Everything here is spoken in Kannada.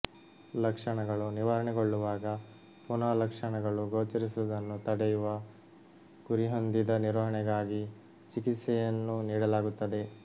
ಲಕ್ಷಣಗಳು ನಿವಾರಣೆಗೊಳ್ಳುವಾಗ ಪುನಾ ಲಕ್ಷಣಗಳು ಗೋಚರಿಸುವುದನ್ನು ತಡೆಯುವ ಗುರಿಹೊಂದಿದ ನಿರ್ವಹಣೆಗಾಗಿ ಚಿಕಿತ್ಸೆಯನ್ನು ನೀಡಲಾಗುತ್ತದೆ